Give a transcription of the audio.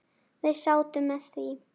Við sátum með því.